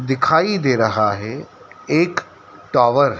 दिखाई दे रहा है एक टॉवर --